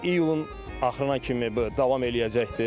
İyulun axırına kimi bu davam eləyəcəkdir.